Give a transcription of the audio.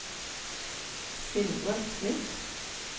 Sindre Smith